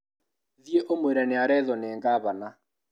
Thiĩ ũmwĩre nĩarethwo nĩ ngabana